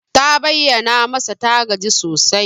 Ta bayyana masa ta gaji sosai.